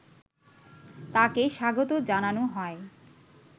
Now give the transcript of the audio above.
তাকে স্বাগত জানানো হয়